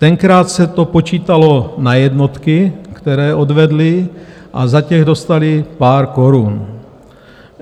Tenkrát se to počítalo na jednotky, které odvedli a za ty dostali pár korun.